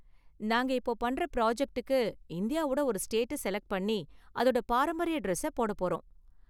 நாங்க இப்போ பண்ணுற ப்ராஜக்ட்டுக்கு, இந்தியாவோட ஒரு ஸ்டேட்ட செலக்ட் பண்ணி அதோட பாரம்பரிய டிரஸ்ஸ போடப் போறோம்.